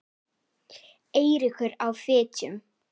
Eiríkur á Fitjum.